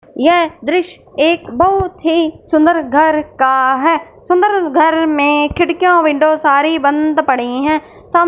यह दृश्य एक बहुत ही सुंदर घर का है सुंदर घर में खिड़कियां विंडो सारी बंद पड़ी है साम--